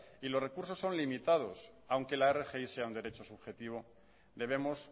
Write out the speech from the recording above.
y los recursos son limitados aunque la rgi sea un derecho subjetivo debemos